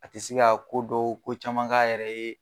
A ti se ka ko dɔw ko caman k'a yɛrɛ ye.